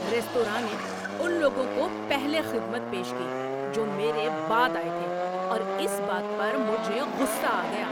‏Restaurant نے ان لوگوں کو پہلے خدمت پیش کی جو میرے بعد آئے تھے اور اس بات پر مجھے غصہ آ گیا۔